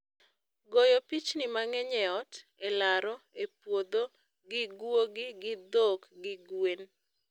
Goyo pichni mang'eny e ot, e laro, e puodho, gi gwogi, gi dhok, gi gwem